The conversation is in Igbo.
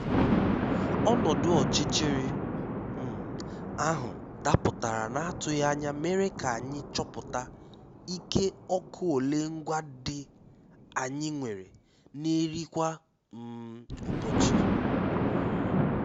Ọ́nọ́dụ́ ọ́chịchịrị um áhụ́ dàpụ́tàrá n’àtụghí ányá mèré ká ànyị́ chọ́pụ́tá íké ọ́kụ́ ólé ngwá ndí ànyị́ nwèré n’érí kwá um ụ́bọchị́. um